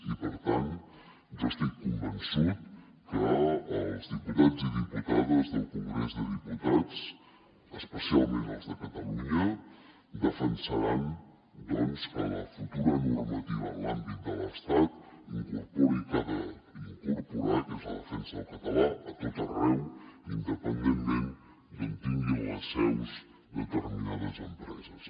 i per tant jo estic convençut que els diputats i diputades del congrés dels diputats especialment els de catalunya defensaran que la futura normativa en l’àmbit de l’estat incorpori el que ha d’incorporar que és la defensa del català a tot arreu independentment d’on tinguin les seus determinades empreses